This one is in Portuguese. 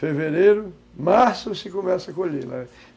Fevereiro, março, se começa a colher, não é?